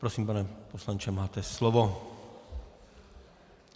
Prosím, pane poslanče, máte slovo.